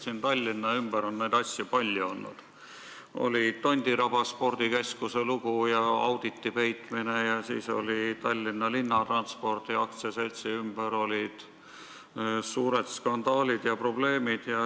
Siin Tallinna ümber on neid asju palju olnud, oli Tondiraba spordikeskuse lugu ja auditi peitmine, siis olid Tallinna Linnatranspordi AS-i ümber suured skandaalid ja probleemid.